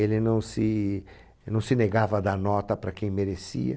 Ele não se ele não se negava a dar nota para quem merecia.